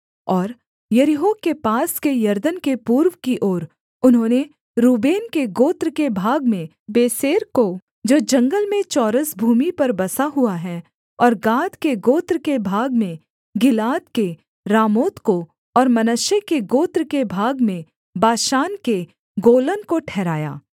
और यरीहो के पास के यरदन के पूर्व की ओर उन्होंने रूबेन के गोत्र के भाग में बेसेर को जो जंगल में चौरस भूमि पर बसा हुआ है और गाद के गोत्र के भाग में गिलाद के रामोत को और मनश्शे के गोत्र के भाग में बाशान के गोलन को ठहराया